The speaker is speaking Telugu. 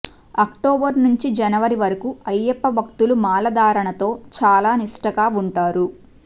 అక్టోబర్ నుంచి జనవరి వరకూ అయ్యప్ప భక్తులు మాలధారణతో చాలా నిష్టగా వుంటారు